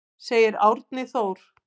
Segir Árni Þór.